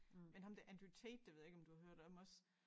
Men ham der Andrew Tate det ved jeg ikke om du har hørt om også